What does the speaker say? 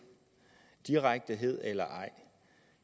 direkthed eller ej